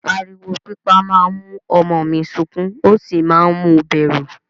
Ariwo pípa máa ń mú ọmọ mi sukún ó sì máa ń mu bẹ̀rù.